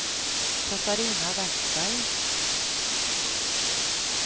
Katarina Vestberg